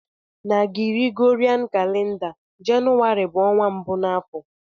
Na Gregorian calender, Jenụwarị bu onwa mbu na afo.